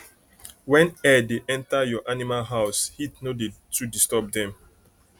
when air da enter ur animal house heat no dey too disturb dem